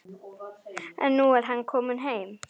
En nú er hann kominn heim.